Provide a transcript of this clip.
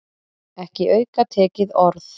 Ekki aukatekið orð.